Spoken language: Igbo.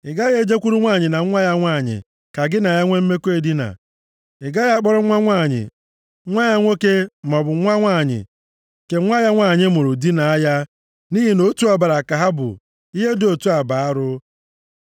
“ ‘Ị gaghị e jekwuru nwanyị na nwa ya nwanyị ka gị na ha nwe mmekọ edina. Ị gaghị akpọrọ nwa nwanyị nwa ya nwoke, maọbụ nwa nwanyị nke nwa ya nwanyị mụrụ dinaa ya; nʼihi na otu ọbara ka ha bụ. Ihe dị otu a bụ arụ.